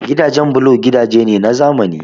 Gidajen bulo gidaje ne na zamani